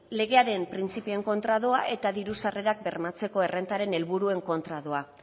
legearen printzipioen kontra doa eta diru sarrerak bermatzeko errentaren helburuen kontra doa